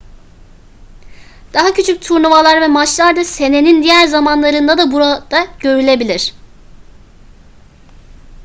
daha küçük turnuvalar ve maçlar da senenin diğer zamanlarında da burada görülebilir